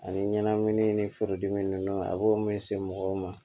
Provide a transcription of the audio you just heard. Ani ɲɛnamini ni furudimi ninnu a b'o mɛn se mɔgɔw ma